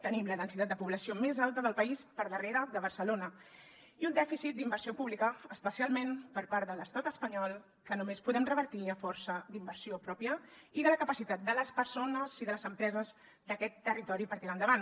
tenim la densitat de població més alta del país per darrere de barcelona i un dèficit d’inversió pública especialment per part de l’estat espanyol que només podem revertir a força d’inversió pròpia i de la capacitat de les persones i de les empreses d’aquest territori per tirar endavant